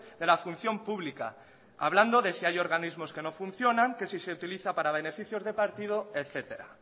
de la función pública hablando de si hay organismos que no funcionan que si se utiliza para beneficios de partido etcétera